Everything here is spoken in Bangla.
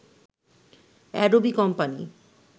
Adobe company